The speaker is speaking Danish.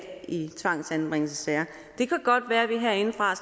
i tvangsanbringelsessager det kan godt være at vi herindefra